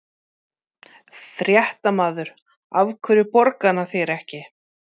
Fréttamaður: Af hverju borgar hann þér ekki?